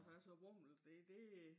Her er så vammelt det det